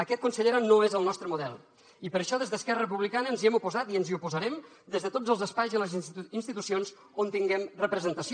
aquest consellera no és el nostre model i per això des d’esquerra republicana ens hi hem oposat i ens hi oposarem des de tots els espais i les institucions on tinguem representació